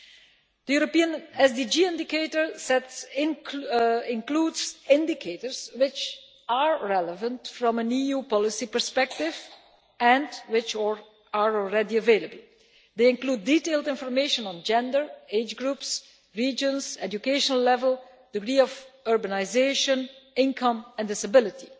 The European SDG indicator set includes indicators which are relevant from an EU policy perspective and which are already available. They include detailed information on gender, age groups, regions, educational level, degree of urbanisation, income, and disability.